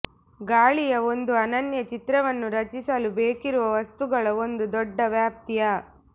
ಗಾಳಿಯ ಒಂದು ಅನನ್ಯ ಚಿತ್ರವನ್ನು ರಚಿಸಲು ಬೇಕಿರುವ ವಸ್ತುಗಳ ಒಂದು ದೊಡ್ಡ ವ್ಯಾಪ್ತಿಯ